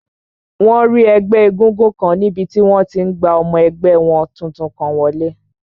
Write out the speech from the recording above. Wọ́n rí ẹgbẹ́ égúngún kan níbi tí wọ́n ti n gba ọmọ ẹgbẹ́ wọn tuntun kan wọlé